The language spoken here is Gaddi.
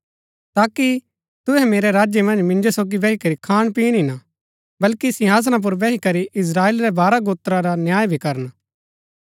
ताकि तुहै मेरै राज्य मन्ज मिंजो सोगी बैही करी खानपीण ही ना बल्कि सिंहासना पुर बैही करी इस्त्राएल रै बारह गोत्रा रा न्याय भी करन